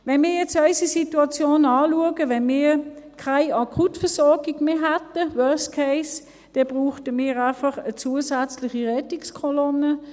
Wenn wir jetzt unsere Situation anschauen: Wenn wir keine Akutversorgung mehr hätten – worst case –, bräuchten wir einfach eine zusätzliche Rettungskolonne;